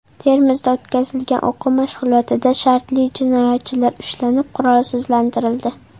Termizda o‘tkazilgan o‘quv mashg‘ulotida shartli jinoyatchilar ushlanib, qurolsizlantirildi .